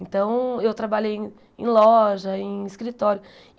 Então, eu trabalhei em loja, em escritório.